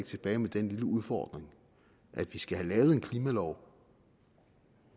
tilbage med den lille udfordring at vi skal have lavet en klimalov